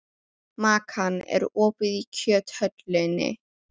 Makan, er opið í Kjöthöllinni?